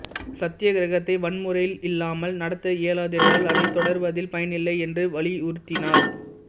சத்தியகிரகத்தை வன்முறையையில்லாமல் நடத்த இயலாதென்றால் அதை தொடர்வதில் பயனில்லை என்று வலியுருத்தினார்